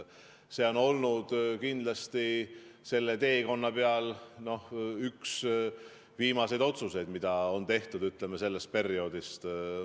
See on olnud kindlasti sellel teekonnal üks viimaseid otsuseid, mis on tehtud, ütleme, sellest perioodist.